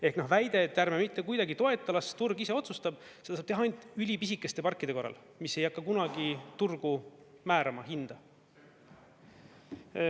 Ehk väide, et ärme mitte kuidagi toeta, las turg ise otsustab, seda saab teha ainult ülipisikeste parkide korral, mis ei hakka kunagi turgu määrama, hinda.